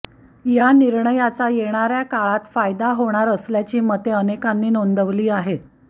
या निर्णयाचा येणाऱया काळात फायदा होणार असल्याची मते अनेकांनी नोंदवली आहेत